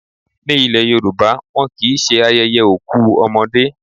Ní ile Yorùbá, wọn kì í ṣe ayẹyẹ òkú ọmọdé.